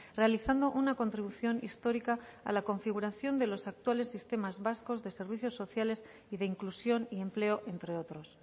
realizando una contribución histórica a la configuración de los actuales sistemas vascos de servicios sociales y de inclusión y empleo entre otros